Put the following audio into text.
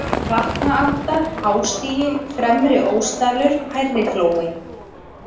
Vatnaalda, Hástigi, Fremri-Ósdalur, Hærriflói